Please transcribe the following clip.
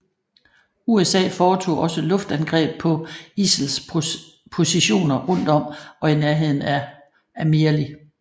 USA foretog også luftangreb på ISILs positioner rundt om og i nærheden af Amirli